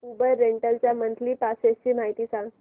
Uber rental च्या monthly passes ची माहिती सांग